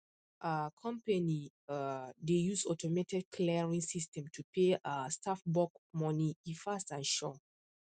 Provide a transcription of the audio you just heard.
um company um dey use automated clearing system to pay um staff bulk money e fast and sure